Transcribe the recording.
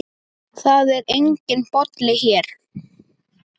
Það er enginn Bolli hér.